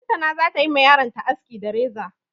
Lantana za ta yi ma yaronta aski da reza.